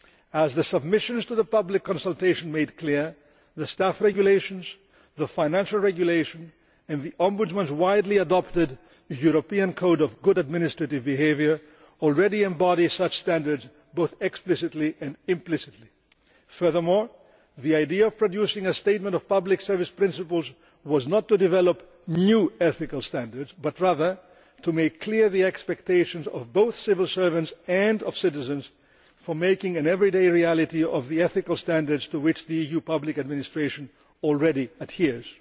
As the submissions to the public consultation made clear, the Staff Regulations, the Financial Regulation and the Ombudsman's widely adopted European code of good administrative behaviour already embody such standards, both explicitly and implicitly. Furthermore, the idea of producing a statement of pubic service principles was not to develop new ethical standards but rather to make clear the expectations of both civil servants and citizens for making an everyday reality of the ethical standards to which the EU public administration already adheres.